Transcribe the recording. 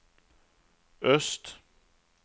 öst